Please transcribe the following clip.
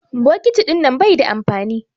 Bokiti ɗinnan bai da amfani.